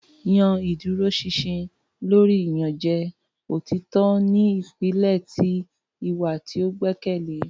yan iduroṣinṣin lori iyanjẹ; Otitọ ni ipilẹ ti iwa ti o gbẹkẹle.